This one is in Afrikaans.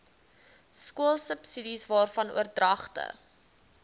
skoolsubsidies waarvan oordragte